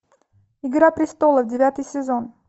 игра престолов девятый сезон